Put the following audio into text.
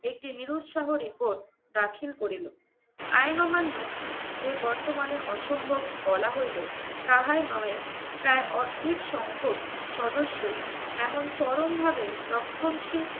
একটি নিরুৎসাহ report দাখিল করিল। আইন অমান্য যে বর্তমানে অসম্ভব বলা হইলো তাহাই নহে প্রায় অর্ধেক সংখক সদস্য এমন চরমভাবে রক্ষণশীল